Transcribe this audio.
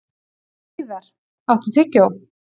Hlíðar, áttu tyggjó?